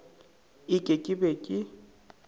e ke ke be ke